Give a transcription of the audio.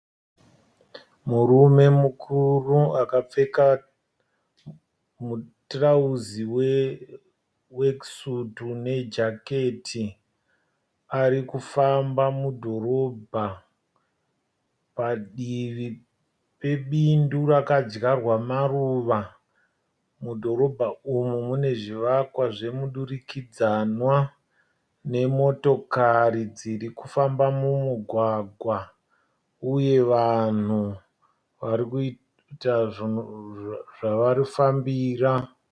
Murume mukuru akapfeka mutirauzi we weki sutu ne jaketi. Arikufamba mudhorobha padivi pe bindu rakadyarwa maruva . Mudhorobha umu mune zvivakwa zvemudurikidzanwa, nemotokari dzirikufamba mumugwagwa, uye vanhu varikuita zvavafambira.